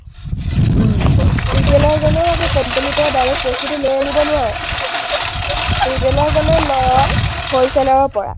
retailer জনে আকৌ company ৰ পৰা direct বস্তুটো লৈ আনিব নোৱাৰে। retailer জনে লয় wholesaler ৰ পৰা।